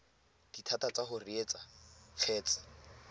dithata tsa go reetsa kgetse